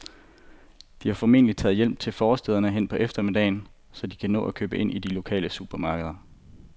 De er formentlig taget hjem til forstæderne hen på eftermiddagen, så de kan nå at købe ind i det lokale supermarked.